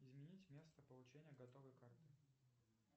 изменить место получения готовой карты